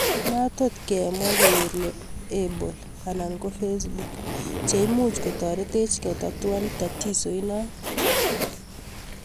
Matotkemwa kere apple anan ko facebook chelmuch koturetech ketatuan tatizo inoton